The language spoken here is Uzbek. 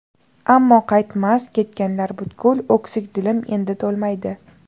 Ammo qaytmas, ketganlar butkul, O‘ksik dilim endi to‘lmaydi.